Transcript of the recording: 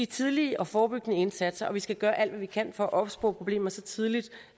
tidlige og forebyggende indsatser og vi skal gøre alt hvad vi kan for at opspore problemer så tidligt